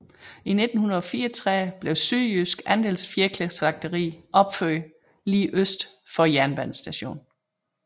I 1934 blev Sydjydsk Andelsfjerkræslagteri opført lige øst for jernbanestationen